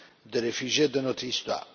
des réfugiés de notre histoire.